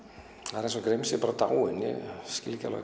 það er eins og Grim sé bara dáinn ég skil ekki